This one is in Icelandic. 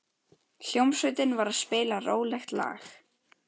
Hljómsveitin var að spila rólegt lag.